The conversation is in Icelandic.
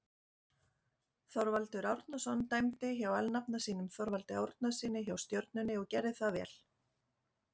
Þorvaldur Árnason dæmdi hjá alnafna sínum Þorvaldi Árnasyni hjá Stjörnunni og gerði það vel.